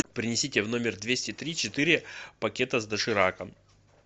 принесите в номер двести три четыре пакета с дошираком